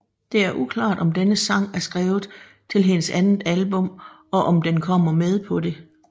Det er uklar om denne sang er skrevet til hendes andet album og om den kommer med på det